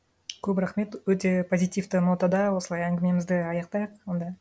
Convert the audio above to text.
көп рахмет өте позитивті нотада осылай әңгімемізді аяқтайық онда